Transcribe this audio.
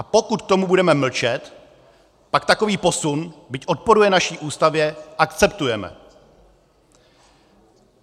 A pokud k tomu budeme mlčet, pak takový posun, byť odporuje naší Ústavě, akceptujeme.